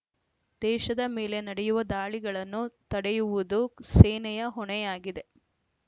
ದೇಶದ ಮೇಲೆ ನಡೆಯುವ ದಾಳಿಗಳನ್ನು ತಡೆಯುವುದು ಸೇನೆಯ ಹೊಣೆಯಾಗಿದೆ